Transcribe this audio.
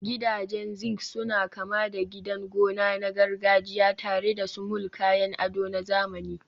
Gidajen zinc suna kama da gidan gona na gargajiya tare da sumul, kayan ado na zamani.